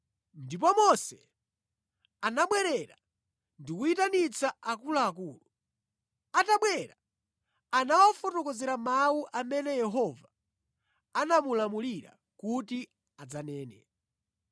Ndipo Mose anabwerera ndi kuyitanitsa akuluakulu. Atabwera anawafotokozera mawu amene Yehova anamulamulira kuti adzanene.